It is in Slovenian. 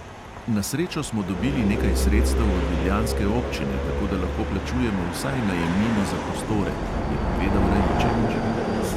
"Na srečo smo dobili nekaj sredstev od ljubljanske občine, tako da lahko plačujemo vsaj najemnino za prostore," je povedal raičevič.